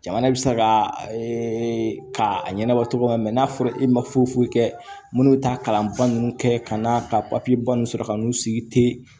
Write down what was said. Jamana bɛ se ka ka a ɲɛnabɔ cogo min n'a fɔra e ma foyi foyi kɛ minnu bɛ taa kalanba ninnu kɛ ka na ka papiye ba ninnu sɔrɔ ka n'u sigi te